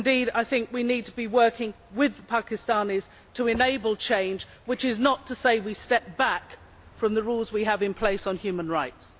I think we need to be working with the Pakistanis to enable change, which is not to say we should step back from the rules we have in place on human rights.